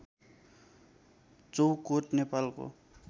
चौकोट नेपालको